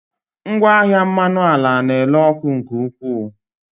Ngwaahịa mmanụ ala na-ere ọkụ nke ukwuu.